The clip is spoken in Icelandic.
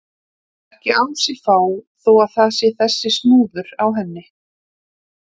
Lætur ekki á sig fá þó að það sé þessi snúður á henni.